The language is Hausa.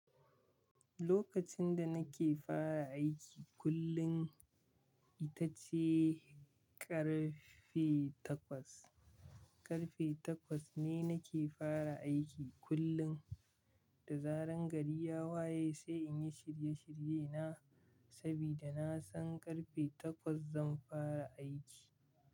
Lokacin da nake fara aiki kullum ita ce ƙarfe takwas. Ƙarfe takwas ne nake fara aiki kullum da zaran gari ya waye sai in yi shirye shirye na saboda na san ƙarfe takwas zan fara aiki.